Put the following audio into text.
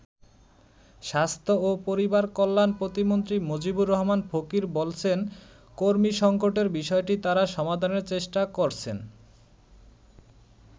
স্বাস্থ্য ও পরিবার কল্যাণ প্রতিমন্ত্রী মজিবুর রহমান ফকির বলছেন, কর্মী সংকটের বিষয়টি তারা সমাধানের চেষ্টা করছেন।